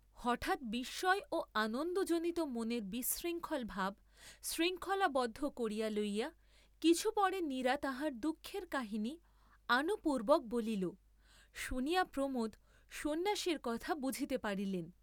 হঠাৎ বিস্ময় ও আনন্দজনিত মনের বিশৃঙ্খল ভাব শৃঙ্খলাবদ্ধ করিয়া লইয়া কিছু পরে নীরা তাহার দুঃখের কাহিনী আনুপূর্ব্বক বলিল; শুনিয়া প্রমোদ সন্ন্যাসীর কথা বুঝিতে পারিলেন।